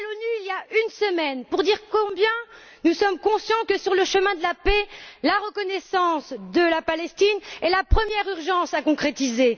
Il y a une semaine, j'étais à l'ONU pour dire combien nous sommes conscients que, sur le chemin de la paix, la reconnaissance de la Palestine est la première urgence à concrétiser.